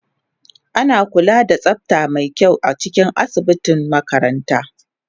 Ana kula da tsafta mai kyau a cikin asibitin makaranta